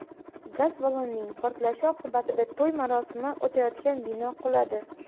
Gaz ballonining portlashi oqibatida to‘y marosimi o‘tayotgan bino quladi.